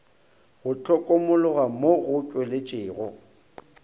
go hlokomologwa mo go tšweletšego